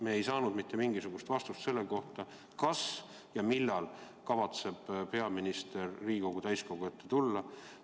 Me ei saanud mitte mingisugust vastust selle kohta, kas ja millal kavatseb peaminister Riigikogu täiskogu ette tulla.